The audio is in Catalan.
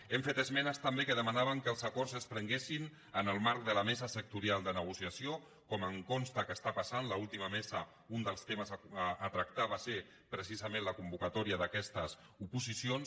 hem fet esmenes també que demanaven que els acords es prenguessin en el marc de la mesa sectorial de negociació com em consta que està passant a l’última mesa un dels temes a tractar va ser precisament la convocatòria d’aquestes oposicions